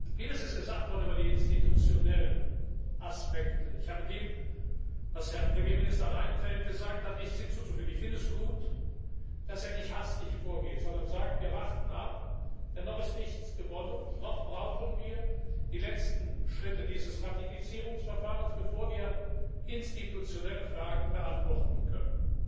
Vieles wurde über die institutionellen Aspekte gesagt. Ich habe dem, was Herr Premierminister Reinfeldt gesagt hat, nichts hinzuzufügen. Ich finde es gut, dass er nicht hastig vorgeht, sondern sagt Wir warten ab, denn noch ist nichts gewonnen, noch brauchen wir die letzten Schritte dieses Ratifizierungsverfahrens, bevor wir institutionelle Fragen beantworten können.